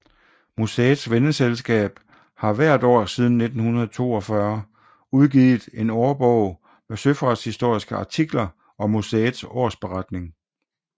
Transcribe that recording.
Museets venneselskab har hvert år siden 1942 udgivet en årbog med søfartshistoriske artikler og museets årsberetning